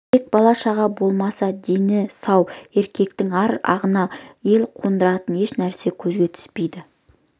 тек бала-шаға болмаса дені сау еркектің ар ағына ел қондыратын еш нәрсе көзге түспейді